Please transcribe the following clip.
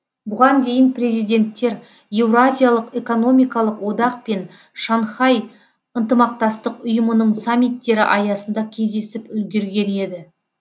бұған дейін президенттер еуразиялық экономикалық одақ пен шанхай ынтымақтастық ұйымының саммиттері аясында кездесіп үлгерген еді